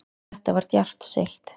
Þar var djarft siglt